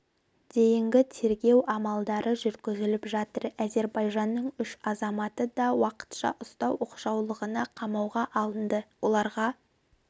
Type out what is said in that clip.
дейінгі тергеу амалдары жүргізіліп жатыр әзербайжанның үш азаматы да уақытша ұстау оқшаулағышына қамауға алынды оларға